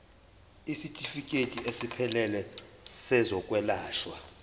isitifikedi esiphelele sezokwelashwa